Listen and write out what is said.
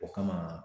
O kama